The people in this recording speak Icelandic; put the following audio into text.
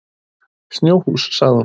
Snjóhús, sagði hún.